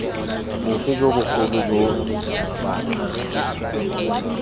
bofe jo bogolo jo batlhatlhobi